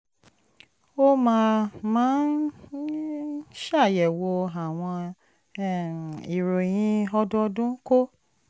ó máa máa ń ṣàyẹ̀wò àwọn um ìròyìn ọdọọdún kó